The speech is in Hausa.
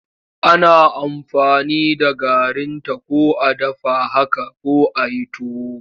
Ana aamfani da garinta ko a dafa haka ko a yi tuwo.